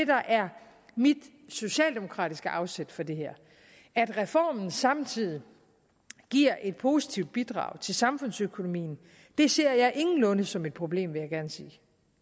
der er mit socialdemokratiske afsæt for det her at reformen samtidig giver et positivt bidrag til samfundsøkonomien ser jeg ingenlunde som et problem vil jeg gerne sige